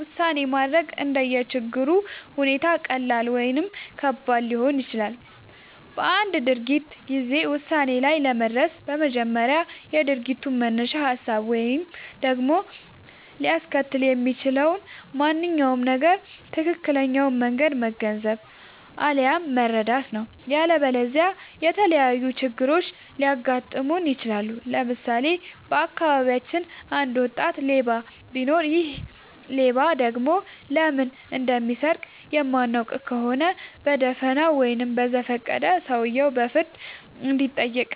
ውሳኔ ማድረግ እንደየ ችግሩ ሁኔታ ቀላል ወይም ከባድ ሊሆን ይችላል። በአንድ ድርጊት ጊዜ ውሳኔ ላይ ለመድረስ በመጀመሪያ የድርጊቱን መነሻ ሀሳብ ወይም ደግሞ ሊያስከትል የሚችለውን ማንኛውም ነገር ትክክለኛውን መንገድ መገንዘብ፣ አለያም መረዳት ነው።. ያለበለዚያ የተለያዩ ችግሮች ሊያጋጥሙን ይችላሉ። ለምሳሌ:- በአካባቢያችን አንድ ወጣት ሌባ ቢኖር ይሔ ሌባ ደግሞ ለምን እንደሚሰርቅ የማናውቅ ከሆነ በደፋናው ወይም በዘፈቀደ ሰውየው በፍርድ እንዲጠይቅ፤